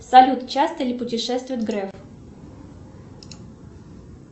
салют часто ли путешествует греф